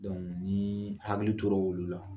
ni hakili tora olu la.